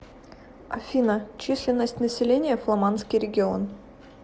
афина численность населения фламандский регион